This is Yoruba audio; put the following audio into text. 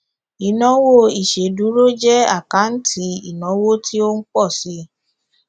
ìnáwó ìṣèdúró jẹ àkáǹtì ìnáwó tí ó ń pọ síi